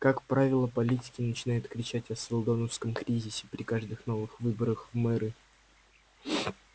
как правило политики начинают кричать о сэлдоновском кризисе при каждых новых выборах в мэры